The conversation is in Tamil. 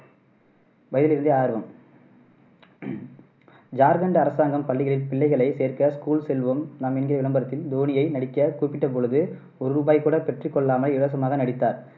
வயதிலிருந்தே ஆர்வம் ஜார்கண்ட் அரசாங்கம் பள்ளிகளில் பிள்ளைகளை சேர்க்க school செல்வோம் நாம் என்கிற விளம்பரத்தில் தோனியை நடிக்கக் கூப்பிட்ட பொழுது ஒரு ரூபாய் கூட பெற்றுக்கொள்ளாமல் இலவசமாக நடித்தார்.